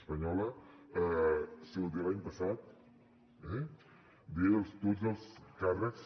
espanyola de l’any passat de tots els càrrecs